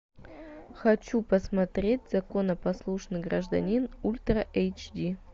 хочу посмотреть законопослушный гражданин ультра эйч ди